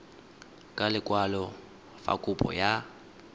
ka lekwalo fa kopo ya